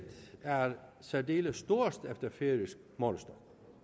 er særdeles stort efter færøsk målestok